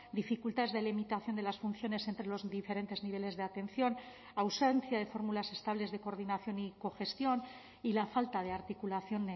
dificultades de limitación de las funciones entre los diferentes niveles de atención ausencia de fórmulas estables de coordinación y cogestión y la falta de articulación